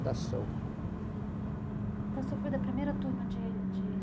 Então, você foi da primeira turma de de